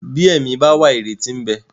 Bí ẹ̀mí bá wà ìrètí ń bẹ.